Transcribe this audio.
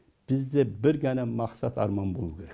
бізде бір ғана мақсат арман болуы керек